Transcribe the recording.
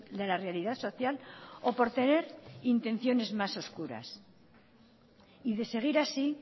de la realidad social o por tener intenciones más oscuras y de seguir así